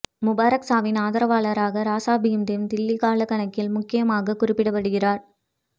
முபாராக் சாவின் ஆதரவாளராக ராசா பீம்தேவ் தில்லி காலக்கணக்கில் முக்கியமாகக் குறிப்பிடப்படுகிறார்